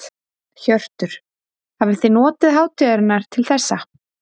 Hjörtur: Hafið þið notið hátíðarinnar til þessa?